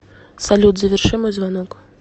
салют заверши мой звонок